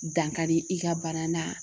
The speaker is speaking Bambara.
Dankari i ka bana na